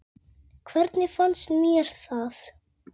Hvernig fannst mér það?